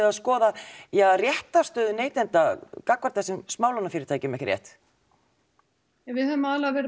að skoða réttarstöðu neytenda gagnvart þessum smálánafyrirtækjum ekki rétt við höfum aðallega verið